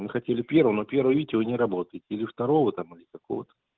мы хотели первого но первого видите вы не работаете или второго там или какого-то